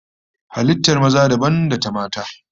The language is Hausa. Halittar maza dabam da ta mata